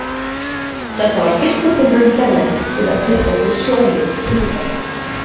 Þetta var fyrsta tilraun hérlendis til að flytja þau sjóleiðis til útlanda.